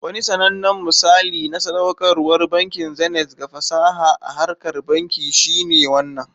Wani sanannen misali na sadaukarwar bankin Zenith ga fasaha a harkar banki shine wannan.